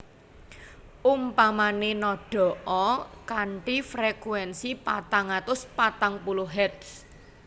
Umpamané nadha a kanthi frekuénsi patang atus patang puluh Hertz